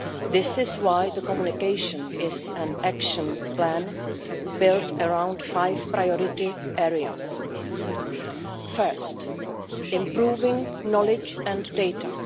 This is why the communication is an Action Plan built around five priority areas the first is improving knowledge and data